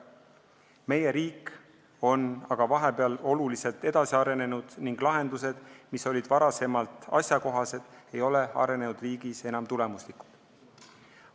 Meie riik on aga vahepeal oluliselt edasi arenenud ning lahendused, mis olid varem asjakohased, ei ole arenenud riigis enam tulemuslikud.